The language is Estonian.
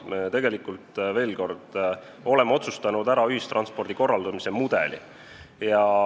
Me oleme ära otsustanud ühistranspordi korraldamise mudeli.